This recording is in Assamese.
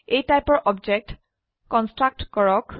A টাইপৰ অবজেক্ট কন্সট্ৰকট কৰা